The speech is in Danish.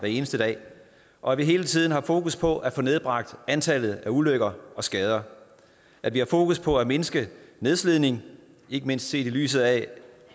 eneste dag og at vi hele tiden har fokus på at få nedbragt antallet af ulykker og skader at vi har fokus på at mindske nedslidningen ikke mindst set i lyset af